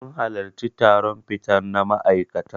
Mun halarci taron fita na ma'aikatan.